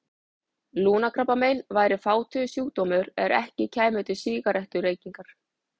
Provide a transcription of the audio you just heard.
Lungnakrabbamein væri fátíður sjúkdómur ef ekki kæmu til sígarettureykingar.